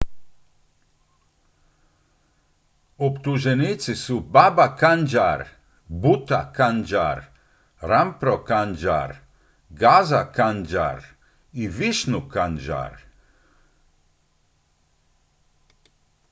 optuženici su baba kanjar bhutha kanjar rampro kanjar gaza kanjar i vishnu kanjar